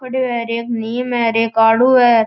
खड़यो है एक नीम है एक आड़ू है।